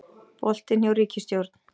Boltinn hjá ríkisstjórn